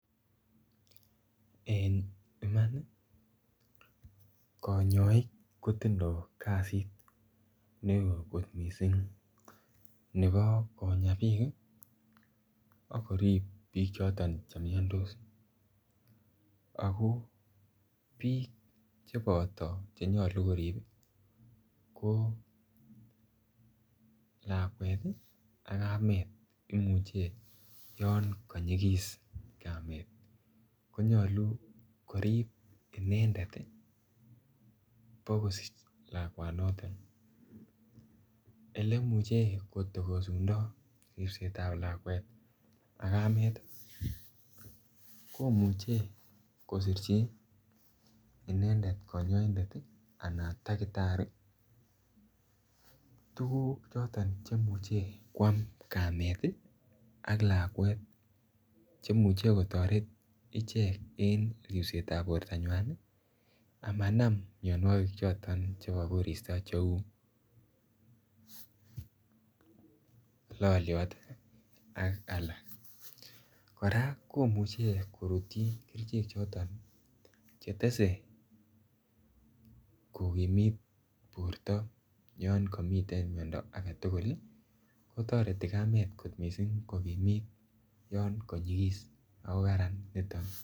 En imani konyoik kotindo kasit neo kot missing nebo Konya bik kii ak korib bik choton chemii ako bik cheboto cheyolu korib ko lakwet tii ak kamet imuche yon koyikis Kamet konyolu korib inendet bokosich lakwanoton oleimuche kitokosundo ripsetab lakwet ak kamet tii komuch kosirchi inendet konyoindet tii an takitari tukuk choton chemuche kwam kamet6tii ak lakwet chemuche kotoret ichek en ripsetab bortanywan ni amanam mionwokik choton chebo koristo cheu loliot tii ak alak. Koraa komuche korutyin kerichek chetse9 kokimit borto yon komiten miondo agetukul lii kotoreti kamet kot missing kokimit yon konyikis.